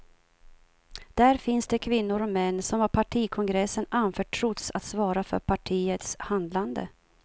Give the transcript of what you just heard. Där finns de kvinnor och män som av partikongressen anförtrotts att svara för partiets handlande.